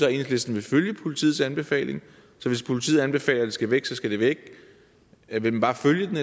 enhedslisten vil følge politiets anbefaling så hvis politiet anbefaler at det skal væk så skal det væk vil man bare følge den